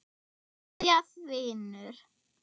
Kveðja, Finnur.